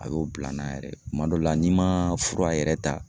A y'o bila n na yɛrɛ kuma dɔw la n'i ma fura yɛrɛ ta